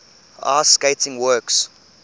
ice skating works